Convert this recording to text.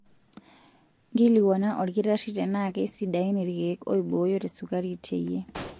Nkilikuana olkitarri tenaa keisidain ilkeek oibooyo tesukari teyie.